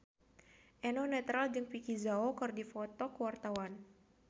Eno Netral jeung Vicki Zao keur dipoto ku wartawan